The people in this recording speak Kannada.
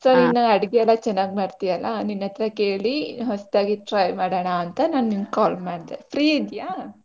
So ನೀನು ಅಡಿಗೆ ಎಲ್ಲ ಚನ್ನಾಗ್ ಮಾಡ್ತಿಯಲ್ಲ ನಿನ್ನತ್ರ ಕೇಳಿ ಹೊಸ್ದಾಗಿ try ಮಾಡಣಾ ಅಂತ ನಾನ್ ನಿನ್ಗೆ call ಮಾಡ್ದೆ free ಇದ್ಯಾ?